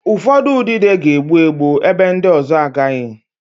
Ụfọdụ udide ga-egbu egbu, ebe ndị ọzọ agaghị